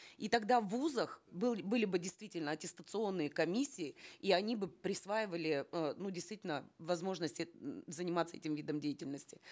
и тогда в вузах были бы действительно аттестационные комиссии и они бы присваивали э ну действительно возможность заниматься этим видом деятельности